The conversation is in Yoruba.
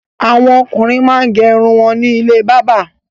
Àwọn ọkùnrin máa ń gé irun wọn ní ilé bábà.